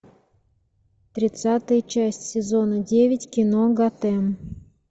тридцатая часть сезона девять кино готэм